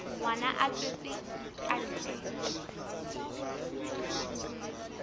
ngwana a tswetswe ka ntle